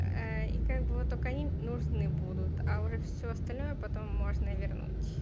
и как бы вот только они нужны будут а уже все остальное потом можно вернуть